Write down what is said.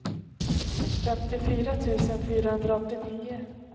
femtiofyra tusen fyrahundraåttionio